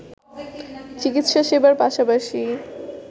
চিকিৎসা সেবার পাশাপাশি